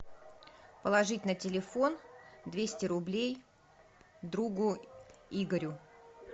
положить на телефон двести рублей другу игорю